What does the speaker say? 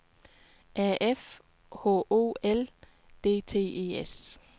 A F H O L D T E S